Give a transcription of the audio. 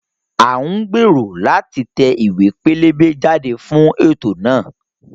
À ń gbèrò láti tẹ ìwé pélébé jáde fún ètò náà